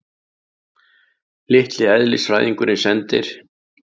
Litli eðlisfræðingurinn sendir